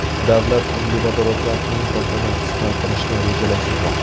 Davlat uglevodorodlar importini qisqartirishni rejalashtirmoqda.